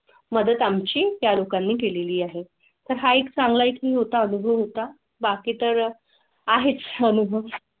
मदत आम ची तालुका नी केलेली आहे तर हा एक चांगला इथून होता अनुभव होता बाकी. तर आहेच अनुभव मदत आम ची त्या लोकांनी केलेली आहे.